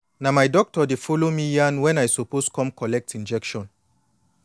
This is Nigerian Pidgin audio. na my doctor dey follow me yan wen i suppose come collect injection